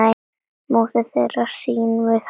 móðir þeirra hrín við hátt